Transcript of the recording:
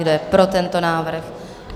Kdo je pro tento návrh?